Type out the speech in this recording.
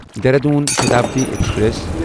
Dehradun Shatabdi express